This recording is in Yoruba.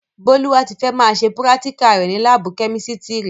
Bọ́lúwátifẹ́ máa ṣe púrátíkà rẹ̀ ni láábù kẹ́mísítiri